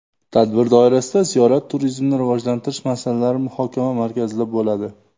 Tadbir doirasida ziyorat turizmini rivojlantirish masalalari muhokama markazida bo‘ladi.